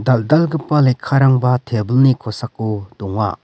dal·dalgipa lekkarangba tebilni kosako donga.